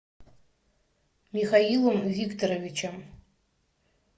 михаилом викторовичем